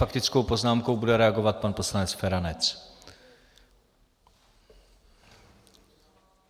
Faktickou poznámkou bude reagovat pan poslanec Feranec.